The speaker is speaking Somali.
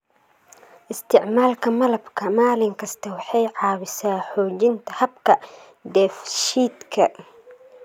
Isticmaalka malabka maalin kasta waxay caawisaa xoojinta habka dheefshiidka.